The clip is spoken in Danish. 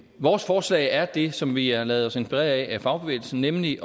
vores forslag er det som vi har ladet os inspirere af af fagbevægelsen nemlig